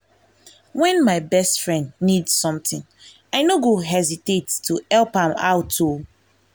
when my best friend need something i no go hesitate to help am out o.